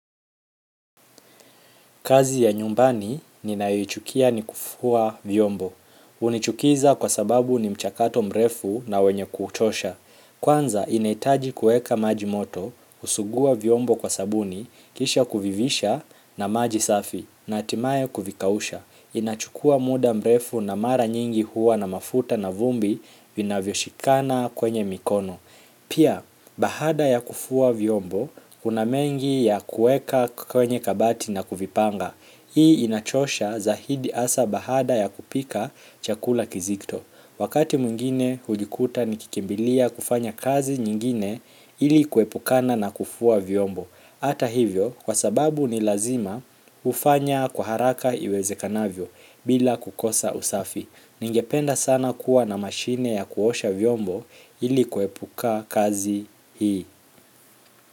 Kazi ya nyumbani ninayoichukia ni kufua vyombo. Hunichukiza kwa sababu ni mchakato mrefu na wenye kuchosha. Kwanza inahitaji kuweka maji moto, kusuguwa vyombo kwa sabuni, kisha kuvivisha na maji safi, na hatimaye kuvikausha. Inachukua muda mrefu na mara nyingi huwa na mafuta na vumbi vina vyoshikana kwenye mikono pia, baada ya kufua vyombo, kuna mengi ya kuweka kwenye kabati na kuvipanga hii inachosha zaidi hasa baada ya kupika chakula kizito wakati mwingine hujikuta ni kikimbilia kufanya kazi nyingine ili kuepukana na kufua vyombo hata hivyo, kwa sababu ni lazima hufanya kwa haraka iweze kanavyo bila kukosa usafi. Ningependa sana kuwa na mashine ya kuosha vyombo ili kuepuka kazi hii.